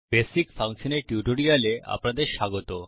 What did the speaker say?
basic ফাংশনের টিউটোরিয়ালে আপনাদের স্বাগত